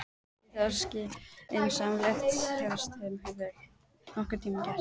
Kannski það skynsamlegasta sem ég hef nokkurn tímann gert.